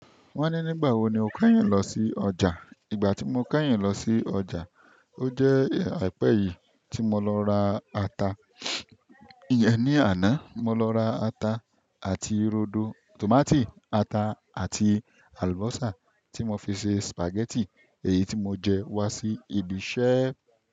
Wọ́n ní nígbà wo ni o kẹ́yìn lọ sí ọjà. Ìgbà tí mo kẹ́yìn lọ sí ọjà, ó jẹ́ àìpẹ́ yìí tí mo lọ ra ata. Íyẹn ní àná, mo lọ ra ata àti rodo, tòmátì, ata àti àlùbọ́sà tí mo fi ṣe sìpàgẹ́tì èyí tí mo jẹ wá sí ibi iṣẹ́.